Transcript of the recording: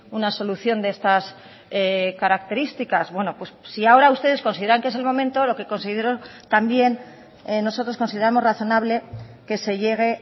una solución de estas características bueno pues si ahora ustedes consideran que es el momento lo que considero también nosotros consideramos razonable que se llegue